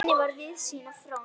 Jenný var víðsýn og fróð.